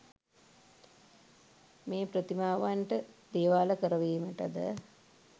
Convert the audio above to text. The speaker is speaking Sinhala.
මේ ප්‍රතිමාවන්ට දේවාල කරවීමටද